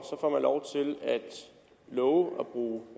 love